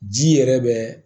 Ji yɛrɛ bɛ